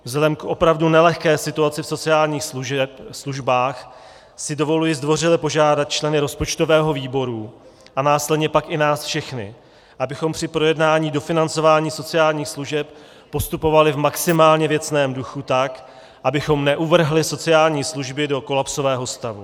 Vzhledem k opravdu nelehké situaci v sociálních službách si dovoluji zdvořile požádat členy rozpočtového výboru a následně pak i nás všechny, abychom při projednání dofinancování sociálních služeb postupovali v maximálně věcném duchu, tak abychom neuvrhli sociální služby do kolapsového stavu.